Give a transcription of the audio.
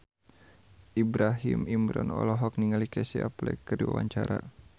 Ibrahim Imran olohok ningali Casey Affleck keur diwawancara